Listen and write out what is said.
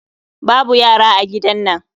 Babu yara a gidan nan